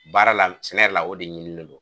Baara la sɛnɛ yɛrɛ la o de ɲinini don